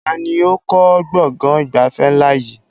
Taàní ó kọ́ gbọ̀ngàn ìgbafẹ́ ńlá yìí?